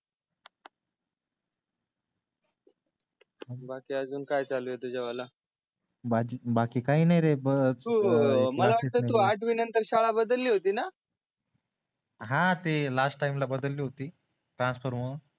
बाकी अजून काय चालू आहे तुझ्या वाल बाकी काही नाही रे तू मला वाटते तू आठवी नंतर शाळा बदलली होती न हा ते लास्ट टाइम ला बदलली होती ट्रान्स्फर मूळ